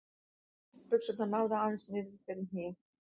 Buxurnar náðu aðeins niður fyrir hnéð.